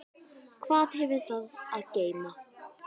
Hvað hefur það að geyma?